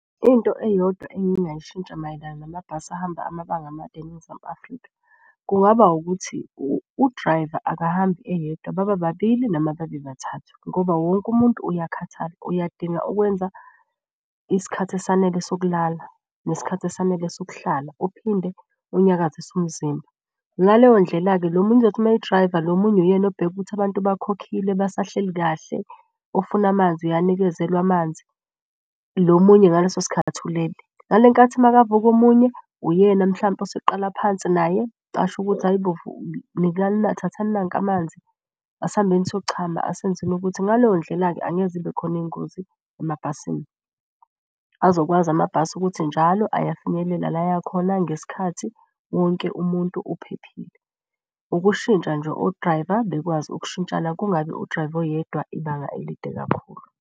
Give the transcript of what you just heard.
Into eyodwa engingayishintsha mayelana namabhasi ahamba amabanga amade eNingizimu Afrika. Kungaba ukuthi udrayiva akahambi eyedwa baba babili, noma babe bathathu. Ngoba wonke umuntu uyakhathala, uyadinga ukwenza isikhathi esanele sokulala nesikhathi esanele sokuhlala, uphinde unyakazise umzimba. Ngaleyo ndlela-ke lo munye uzothi uma edrayiva, lo omunye uyena obheka ukuthi abantu bakhokhile basahleli kahle, ofuna amanzi uyanikezelwa amanzi. Lo omunye ngaleso sikhathi ulele. Ngale nkathi makavuka omunye, uyena mhlampe oseqala phansi naye. Asho ukuthi, hhayi bo, nikani thathani nanka amanzi, asihambeni siyochama asenzeni ukuthi. Ngaleyo ndlela-ke angeke zibe khona iy'ngozi emabhasini. Azokwazi amabhasi ukuthi njalo ayafinyelela la aya khona ngesikhathi, wonke umuntu uphephile. Ukushintsha nje odrayiva bekwazi ukushintshana kungabi udrayiva oyedwa ibanga elide kakhulu.